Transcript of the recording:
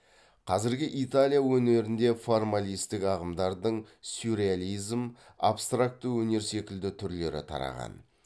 қазіргі италия өнерінде формалистік ағымдардың сюрреализм абстракты өнер секілді түрлері тараған